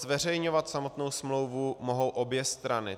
Zveřejňovat samotnou smlouvu mohou obě strany.